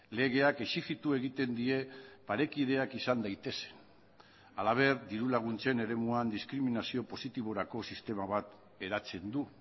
legeak exijitu egiten die parekideak izan daitezen halaber diru laguntzen eremuan diskriminazio positiborako sistema bat eratzen du